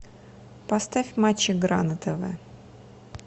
поставь матч игра на тв